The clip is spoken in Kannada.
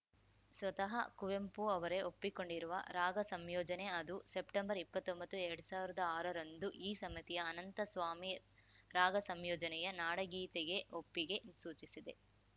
ಸ್ವತಃ ಕುವೆಂಪು ಅವರೇ ಒಪ್ಪಿಕೊಂಡಿರುವ ರಾಗಸಂಯೋಜನೆ ಅದು ಸೆಪ್ಟೆಂಬರ್‌ ಇಪ್ಪತ್ತೊಂಬತ್ತು ಎರಡ್ ಸಾವಿರ್ದಾ ಆರರಂದು ಈ ಸಮಿತಿಯು ಅನಂತಸ್ವಾಮಿ ರಾಗಸಂಯೋಜನೆಯ ನಾಡಗೀತೆಗೆ ಒಪ್ಪಿಗೆ ಸೂಚಿಸಿದೆ